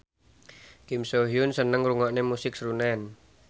Kim So Hyun seneng ngrungokne musik srunen